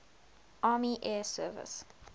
army air service